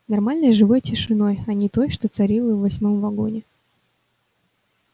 нормальной живой тишиной а не той что царила в восьмом вагоне